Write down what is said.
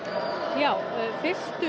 já fyrstu